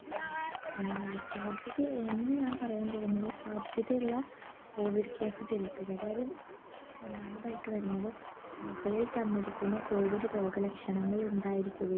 ഏർ സാധ്യതയെ ഇനി ഞാൻ പറയാൻ പോകുന്നത് സാധ്യതയുള്ള COVIDcase തിരുത്ത് അതായത് ഒന്നാമതായിട്ട് വരുന്നത് മുകളിൽ തന്നിരിക്കുന്ന COVID രോഗ ലക്ഷണങ്ങൾ ഉണ്ടായിരിക്കുകയും